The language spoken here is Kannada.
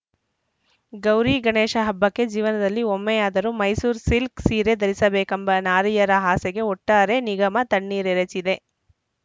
ಗೌರಿಗಣೇಶ ಹಬ್ಬಕ್ಕೆ ಜೀವನದಲ್ಲಿ ಒಮ್ಮೆಯಾದರೂ ಮೈಸೂರು ಸಿಲ್ಕ್ ಸೀರೆ ಧರಿಸಬೇಕೆಂಬ ನಾರಿಯರ ಆಸೆಗೆ ಒಟ್ಟಾರೆ ನಿಗಮ ತಣ್ಣೀರ್ ಎರಚಿದೆ